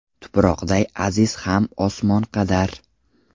Tuproqday aziz Ham osmon qadar.